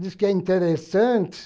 Diz que é interessante.